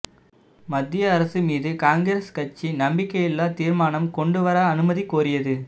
மத்திய அரசு மீது காங்கிரஸ் கட்சி நம்பிக்கை இல்லா தீர்மானம் கொண்டு வர அனுமதி கோரியது